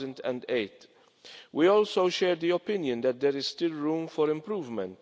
2008. We also share the opinion that there is still room for improvement.